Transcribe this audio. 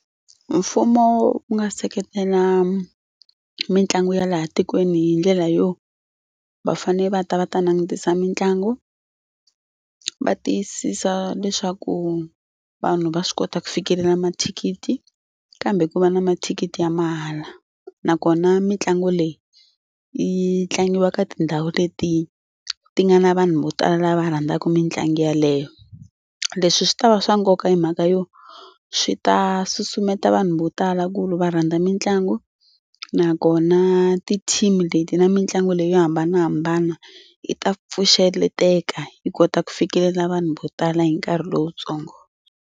Mfumo wu nga seketela mitlangu ya laha tikweni hi ndlela yo va fane va ta va ta langutisa mitlangu va tiyisisa leswaku vanhu va swi kota ku fikelela mathikithi kambe ku va na mathikithi ya mahala nakona mitlangu leyi yi tlangiwa ka tindhawu leti ti nga na vanhu vo tala lava rhandzaka mitlangu yaleyo. Leswi swi ta va swa nkoka hi mhaka yo swi ta susumeta vanhu vo tala ku ri va rhandza mitlangu nakona ti-team leti na mitlangu leyi yo hambanahambana yi ta pfuxeleteka yi kota ku fikelela vanhu vo tala hi nkarhi lowutsongo.